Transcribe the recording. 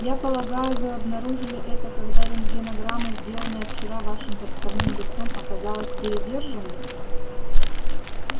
я полагаю вы обнаружили это когда рентгенограмма сделанная вчера вашим подставным лицом оказалась передержанной